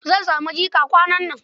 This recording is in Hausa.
Zan sami jika kwanan nan.